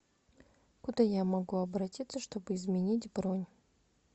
куда я могу обратиться чтобы изменить бронь